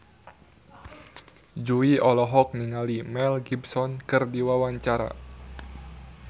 Jui olohok ningali Mel Gibson keur diwawancara